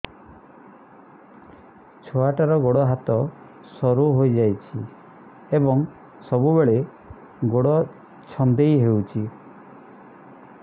ଛୁଆଟାର ଗୋଡ଼ ହାତ ସରୁ ହୋଇଯାଇଛି ଏବଂ ସବୁବେଳେ ଗୋଡ଼ ଛଂଦେଇ ହେଉଛି